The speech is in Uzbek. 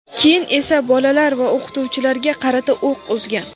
keyin esa bolalar va o‘qituvchilarga qarata o‘q uzgan.